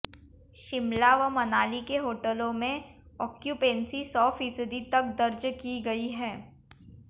शिमला व मनाली के होटलों में आक्यूपेंसी सौ फीसदी तक दर्ज की गई है